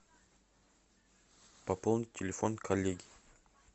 пополнить телефон коллеги